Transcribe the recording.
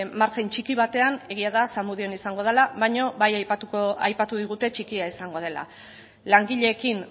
margen txiki batean egia da zamudion izango dela baino ba aipatu digute txikia izango dela langileekin